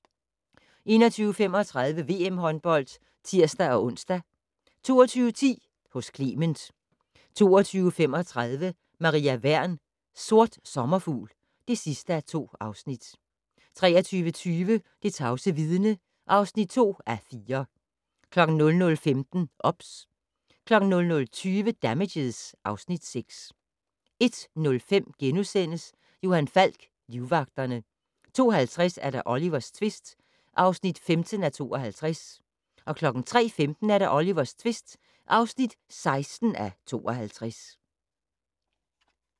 21:35: VM håndbold (tir-ons) 22:10: Hos Clement 22:35: Maria Wern: Sort sommerfugl (2:2) 23:20: Det tavse vidne (2:4) 00:15: OBS 00:20: Damages (Afs. 6) 01:05: Johan Falk: Livvagterne * 02:50: Olivers tvist (15:52) 03:15: Olivers tvist (16:52)